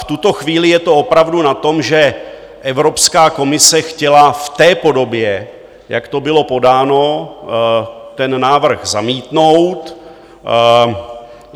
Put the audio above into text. V tuto chvíli je to opravdu na tom, že Evropská komise chtěla v té podobě, jak to bylo podáno, ten návrh zamítnout.